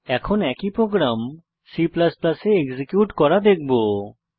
এখন একই program C এ এক্সিকিউট করা দেখবো